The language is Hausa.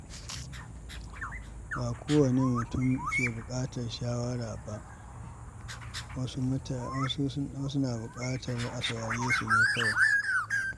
Ba kowane mutum ke buƙatar shawara ba, wasu na buƙatar a saurare su ne kawai.